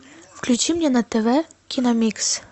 включи мне на тв киномикс